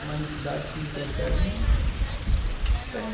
Uma entidade que não tem